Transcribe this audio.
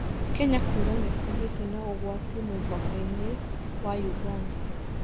Kenya kuuga nĩ kũgĩĩte na ũgwati mũvaka-inĩ na wa Uganda